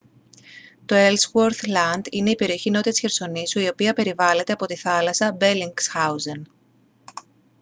το έλσγουορθ λαντ είναι η περιοχή νότια της χερσονήσου η οποία περιβάλλεται από τη θάλασσα μπελινγκσχάουζεν